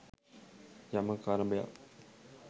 යමක් අරබයා